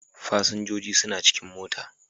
Fasinjojin suna cikin mota.